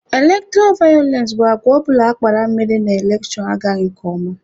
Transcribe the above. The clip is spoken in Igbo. Elektọra vayọlensị bụ agwa ọbụla akpara mere na elekshon agaghị nke ọma.